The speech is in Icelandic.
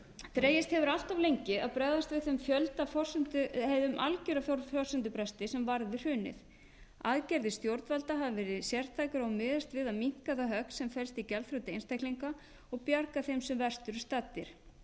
dregist hefur allt of lengi að bregðast við þeim algjöra forsendubresti sem varð við hrunið aðgerðir stjórnvalda hafa verið sértækar og miðast við að minnka það högg sem felst í gjaldþroti einstaklinga og bjarga þeim sem verst eru staddir